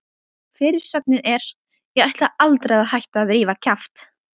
Fyrirsögnin er: Ég ætla aldrei að hætta að rífa kjaft!